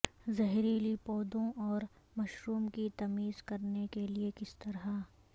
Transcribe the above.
زہریلی پودوں اور مشروم کی تمیز کرنے کے لئے کس طرح